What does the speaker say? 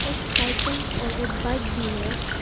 एक साइकिल और एक बाइक भी है।